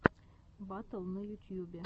батл на ютьюбе